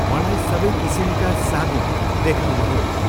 मलाई सबै किसिमका साबुन देखाउनुहोस्।